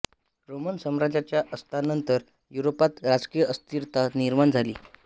Roman साम्राज्याच्या अस्तानंतर युरोपात राजकीय अस्थिरता निर्माण झाली